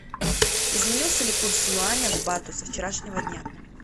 изменился ли курс юаня к бату со вчерашнего дня